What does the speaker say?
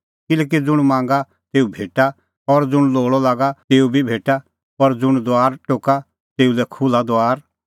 किल्हैकि ज़ुंण मांगा तेऊ भेटा और ज़ुंण लोल़अ लागा तेऊ बी भेटा और ज़ुंण दुआर टोका तेऊ लै खुल्हा दुआर